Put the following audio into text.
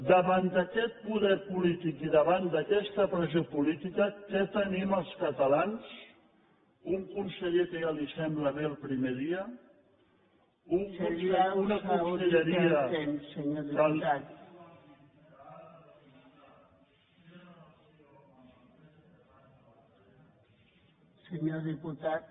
davant d’aquest poder polític i davant d’aquesta pressió política què tenim els catalans un conseller que ja li sembla bé el primer dia una conselleria